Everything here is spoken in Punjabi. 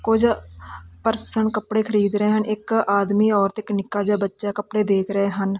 ਕੁਝ ਪਰਸਨ ਕੱਪੜੇ ਖਰੀਦ ਰਹੇ ਹਨ ਇੱਕ ਆਦਮੀ ਔਰਤ ਇੱਕ ਨਿੱਕਾ ਜਿਹਾ ਬੱਚਾ ਕੱਪੜੇ ਦੇਖ ਰਹੇ ਹਨ।